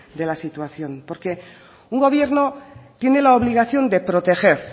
de la situación porque un gobierno tiene la obligación de proteger